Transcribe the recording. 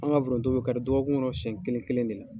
An ka foronto bɛ kari dɔgɔkun kɔnɔ siyɛn kelen kelen de la.